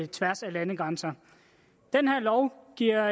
tværs af landegrænser den her lov giver